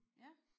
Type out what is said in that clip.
Ja